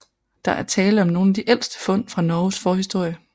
Der er tale om nogle af de ældste fund fra Norges forhistorie